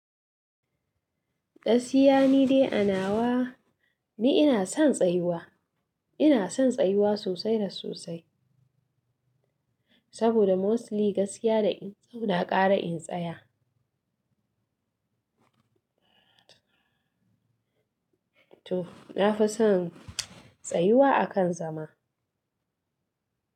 Gaskiya ni dai a nawa ni ina son tsayuwa, ina son tsayuwa sosai da sosai saboda mostly gaskiya da in tsauna ƙara in tsaya. Toh, na fi son tsayuwa a kan zama.